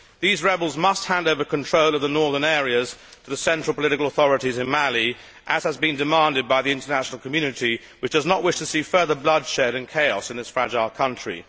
These rebels must hand over control of the northern areas to the central political authorities in Mali as has been demanded by the international community, which does not wish to see further bloodshed and chaos in this fragile country.